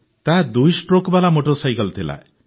ତାହା ଦୁଇ ଷ୍ଟ୍ରୋକ୍ବାଲା ମୋଟର ସାଇକେଲ ଥିଲା